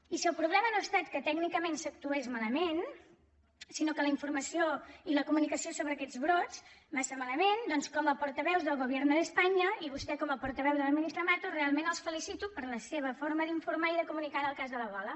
i si el problema no ha estat que tècnicament s’actués mala·ment sinó que la informació i la comunicació sobre aquests brots va estar malament doncs com a porta·veus del gobierno de españa i vostè com a portaveu de la ministra mato realment els felicito per la seva forma d’informar i de comunicar en el cas de l’ebo·la